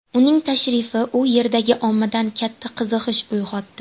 Uning tashrifi u yerdagi ommada katta qiziqish uyg‘otdi.